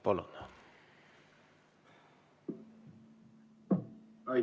Palun!